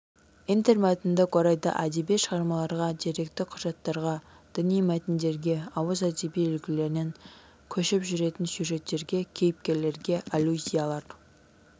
интермәтіндік орайда әдеби шығармаларға деректі құжаттарға діни мәтіндерге ауыз әдебиеті үлгілерінен көшіп жүретін сюжеттерге кейіпкерлерге аллюзиялар